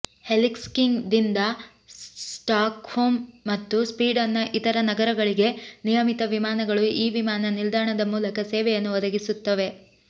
ಹೆಲ್ಸಿಂಕಿದಿಂದ Stockholm ಮತ್ತು ಸ್ವೀಡನ್ನ ಇತರ ನಗರಗಳಿಗೆ ನಿಯಮಿತ ವಿಮಾನಗಳು ಈ ವಿಮಾನ ನಿಲ್ದಾಣದ ಮೂಲಕ ಸೇವೆಯನ್ನು ಒದಗಿಸುತ್ತವೆ